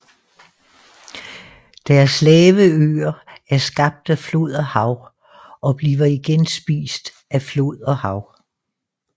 Deres lave øer er skabt af flod og hav og bliver igen spist af flod og hav